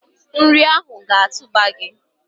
Nri a ga-atụba gi!